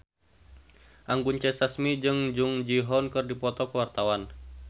Anggun C. Sasmi jeung Jung Ji Hoon keur dipoto ku wartawan